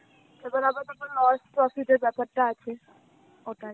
তারপর আবার কখনো loss profit এর ব্যাপার টা আছে. ওটাই.